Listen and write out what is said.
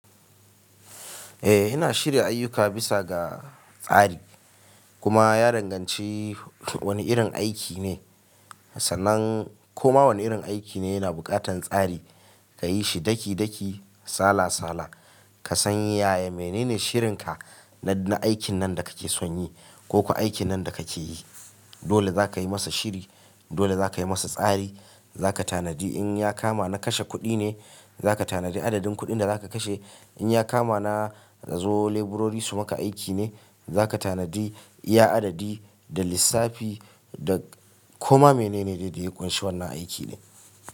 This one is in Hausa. Eh, ina shirya ayyuka bisa ga tsari kuma ya danganci wani irin aiki ne. Sanan koma wani irin aiki ne yana buƙatar tsari, ka yi shi daki daki, sala sala, ka san yaya menene shirinka na aikin nan da kake son yi ko kuwa aikin nan da kake yi. Dole za ka yi masa shiri, dole za ka yi masa tsari, za ka tanadi in ya kama na kashe kuɗi ne, za ka tanadi adadin kuɗin da za ka kashe. In ya kama na zo leburori su maka aiki ne, za ka tanadi iya adadi da lissafi da koma menene da yake ƙunshi wannan aiki din.